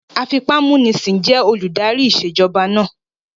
Afipámúnisìn jẹ́ olùdarí ìṣèjọba náà